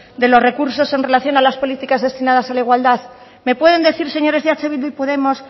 de los recursos en relación a las políticas destinadas a la igualdad me pueden decir señores de eh bildu y podemos